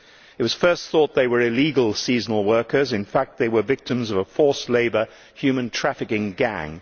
It was first thought that they were illegal seasonal workers, but in fact they were victims of a forced labour human trafficking gang.